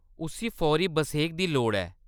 उस्सी फौरी बसेख दी लोड़ ऐ।